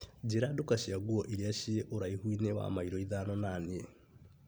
Njĩra nduka cia nguo iria ciĩ ũraihu-inĩ wa mairo ithano na niĩ.